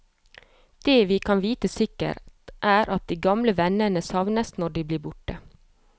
Det vi kan vite sikkert, er at de gamle vennene savnes når de blir borte.